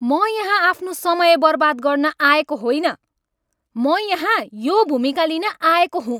म यहाँ आफ्नो समय बर्बाद गर्न आएको होइन! म यहाँ यो भूमिका लिन आएको हुँ।